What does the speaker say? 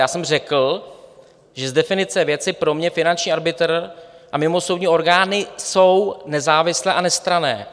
Já jsem řekl, že z definice věci pro mě finanční arbitr a mimosoudní orgány jsou nezávislé a nestranné.